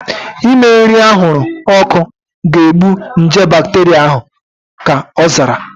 Ime nri anwụrụ ọkụ ga-egbu nje bakteria ahu, ka ọ zara